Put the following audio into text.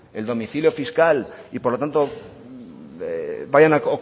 el domicilio fiscal y por lo tanto vayan a